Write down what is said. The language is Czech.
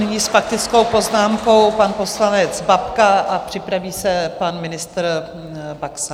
Nyní s faktickou poznámkou pan poslanec Babka a připraví se pan ministr Baxa.